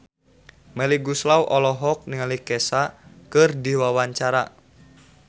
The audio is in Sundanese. Melly Goeslaw olohok ningali Kesha keur diwawancara